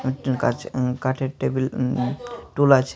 উম কাঁচ উম্ কাঠের টেবিল উম উম টুল আছে।